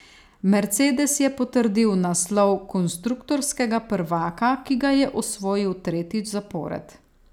Mercedes je potrdil naslov konstruktorskega prvaka, ki ga je osvojil tretjič zapored.